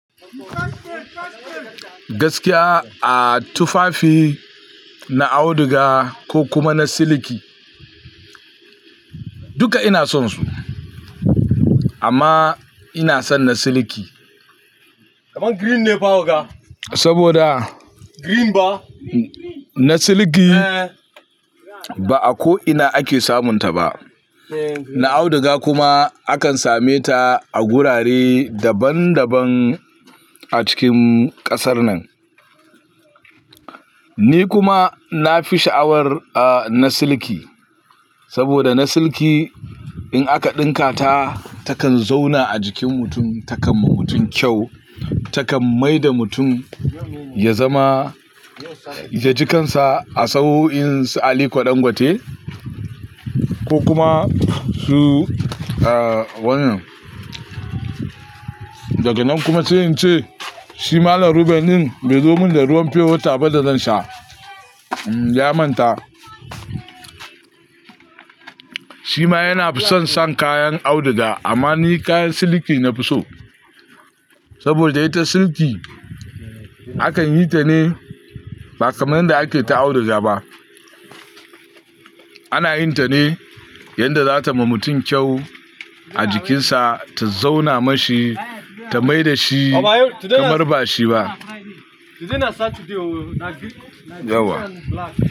Gaskiya, a tufafi na auduga ko kuma na siliki, duka ina son su. Amma ina son na siliki. Saboda na siliki ba a ko ina ake samun ta ba. Na auduga kuma akan same ta a gurare daban daban a cikin kasar nan. Ni kuma na fi sha'awar na siliki. Saboda na siliki in aka ɗinka ta, takan zauna a jikin mutum, takan ma mutum kyau. Takan mai da mutum ya zama, ya ji kansa a tsaho in sa ali Dangote. Ko kuma su, ah wanan. Daga nan kuma, sai ince, shi Malam Ruben din bai zo min da ruwan pew water ba da zan sha. Ya manta. Shi ma yana fi son sam kayan auduga amma ni kayan siliki na fi so. Saboda ita siliki akan yi ta ne ba kaman inda ake ta auduga ba. Ana yin ta ne yanda za ta ma mutum kyau a jikinsa, ta zauna ma shi, ta mai da shi kamar ba shi ba. Yauwa.